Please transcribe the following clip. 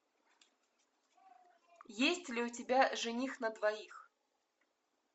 есть ли у тебя жених на двоих